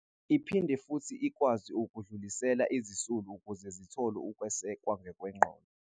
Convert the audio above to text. Iphinde futhi ikwazi ukudlulisela izisulu ukuze zithole ukwesekwa ngokwengqondo.